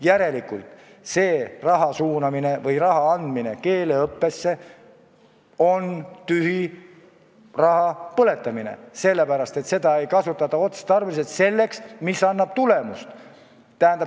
Järelikult on raha suunamine või andmine keeleõppesse tühi raha põletamine, sellepärast et seda ei kasutata otstarbeliselt, selleks, mis annab tulemust.